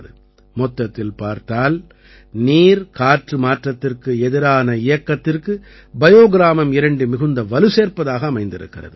மொத்தத்தில் பார்த்தால் நீர்காற்று மாற்றத்திற்கு எதிரான இயக்கத்திற்கு பயோ கிராமம் 2 மிகுந்த வலு சேர்ப்பதாக அமைந்திருக்கிறது